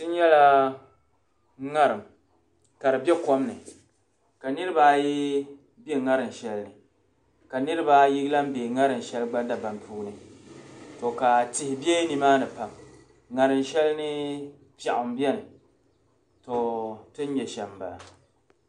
N-nyala ŋarim ka di be kom ni ka niriba ayi be ŋarim shɛli ni ka niribaa ayi lan be ŋarim shɛli dabam puuni to ka tihi be nimaani pam ŋarim shɛli ni piɛɣu m-beni to ti ni nya shɛm m-bala.